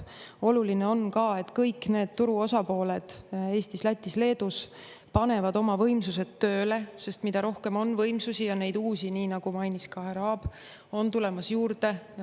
Oluline on ka, et kõik need turu osapooled Eestis, Lätis, Leedus panevad oma võimsused tööle, sest mida rohkem on võimsusi, ja neid uusi, nii nagu mainis ka härra Aab, on tulemas juurde.